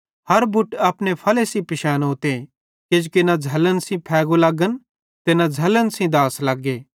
हर बुट अपने फले सेइं पिशैनोते किजोकि न झ़लन सेइं फैगु लगन ते न करेरी सेइं दाछ़ लगे